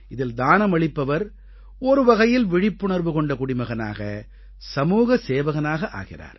இதில் தானம் அளிப்பவர் ஒரு வகையில் விழிப்புணர்வு கொண்ட குடிமகனாக சமூகசேவகனாக ஆகிறார்